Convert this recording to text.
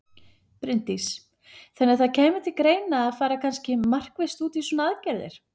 Bryndís: Þannig að það kæmi til greina að fara kannski markvisst út í svona aðgerðir?